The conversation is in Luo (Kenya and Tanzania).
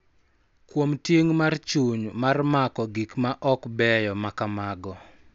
Kuom ting� mar chuny mar mako gik ma ok beyo ma kamago.